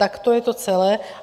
Tak to je to celé.